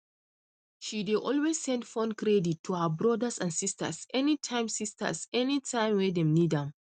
she dey always send phone credit to her brothers and sisters anytime sisters anytime wey dem need am